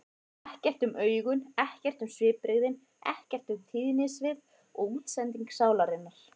Ekkert um augun, ekkert um svipbrigðin, ekkert um tíðnisvið og útsendingu sálarinnar.